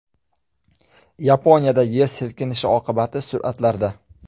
Yaponiyadagi yer silkinishi oqibatlari suratlarda.